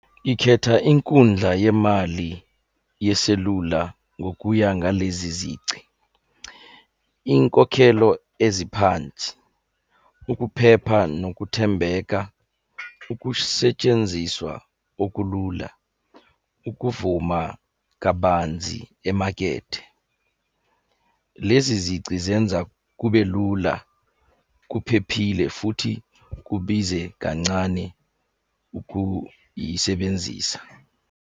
Ikhetha inkundla yemali yeselula ngokuya ngalezi zici, iy'nkokhelo eziphansi, ukuphepha nokuthembeka, ukusetshenziswa okulula, ukuvuma kabanzi emakethe. Lezi zici zenza kube lula, kuphephile, futhi kubize kancane ukuyisebenzisa.